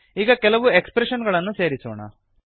ಈಗ ಕೆಲವು ಎಕ್ಸ್ಪ್ರೆಷನ್ ಗಳನ್ನು ಸೇರಿಸೋಣ